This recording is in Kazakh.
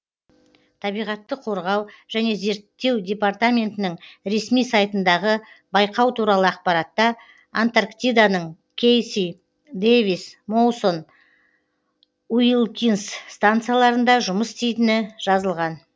табиғатты қорғау және зерттеу департаментінің ресми сайтындағы байқау туралы ақпаратта антарктиданың кейси дэвис моусон уилкинс станцияларында жұмыс істейтіні жазылған